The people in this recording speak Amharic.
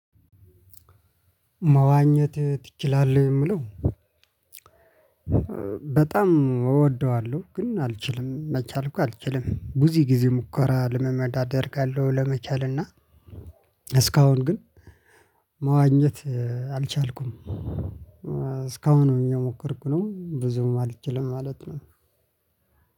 መዋኘት ትችላለህ? የምለው በጣም እወደዋለሁ። ግን አልችልም መቻል እንኳ አልችልም ቡዚ ጊዜ ሙከራ ልምምድ አደርጋለሁ። ለመቻል እና እስካሁን ግን መዋኘት አልቻልኩም እስካሁን እየሞከርኩ ነው። ብዙም አልችልም ማለት ነው።